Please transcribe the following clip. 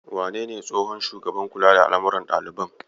Wanene tsohon shugaban kula da al'amuran ɗaliban?